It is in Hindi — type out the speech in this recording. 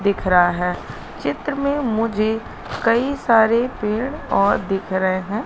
दिख रहा है चित्र में मुझे कई सारे पेड़ और दिख रहे हैं।